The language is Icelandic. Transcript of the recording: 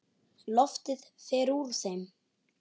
Loftið fer úr þeim.